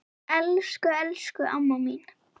Elsku, elsku amma mín.